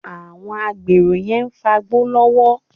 Àwọn agbèrò yẹn ń fagbó lọ́wọ́